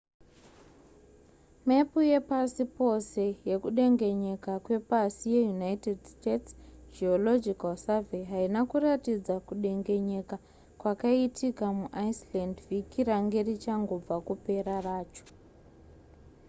mepu yepasi pose yekudengenyeka kwepasi yeunited states geological survey haina kuratidza kudengenyeka kwakaitika muiceland vhiki range richangobva kupera racho